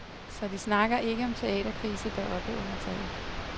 Så de snakker ikke om teaterkrise deroppe under taget.